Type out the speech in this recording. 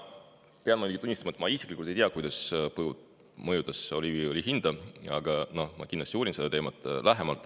Ma pean muidugi tunnistama, et ma isiklikult ei tea, kuidas põud mõjutas oliiviõli hinda, aga ma kindlasti uurin seda teemat lähemalt.